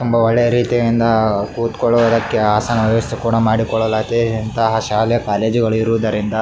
ತುಂಬಾ ಒಳ್ಳೆಯ ರೀತಿಯಿಂದ ಕುತ್ಕೊಳ್ಳೋದಕ್ಕೆ ಆಸನದ ವ್ಯವಸ್ಥೆ ಕೂಡ ಮಾಡಿ ಕೊಡಲಾಗಿದೆ ಇಂಥ ಶಾಲೆ ಕಾಲೇಜು ಗಳು ಇರುವುದರಿಂದ.